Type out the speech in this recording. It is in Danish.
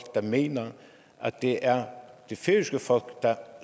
der mener at det er det færøske folk der